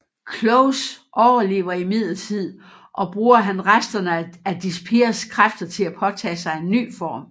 Close overlever imidlertid og bruger han resterne af Dyspears kræfter til at påtage sig en ny form